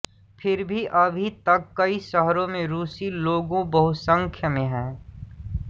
फिर भी अभी तक कई शहरों में रूसी लोगों बहुसंख्य में हैं